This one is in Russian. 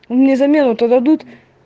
а мне замену то дадут